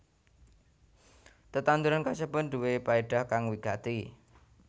Tetanduran kasebut nduwé paédah kang wigati